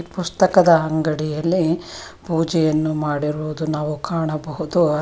ಪುಸ್ತಕದ ಅಂಗಡಿಯಲ್ಲಿ ಪೂಜೆಯನ್ನು ಮಾಡಿರುವುದು ನಾವು ಕಾಣಬಹುದು ಅದೆ.